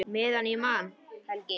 Meðan ég man, Helgi.